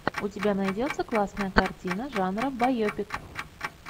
у тебя найдется классная картина жанра байопик